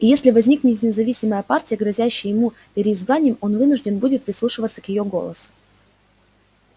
и если возникнет независимая партия грозящая ему переизбранием он вынужден будет прислушиваться к её голосу